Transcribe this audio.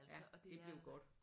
Det er blevet godt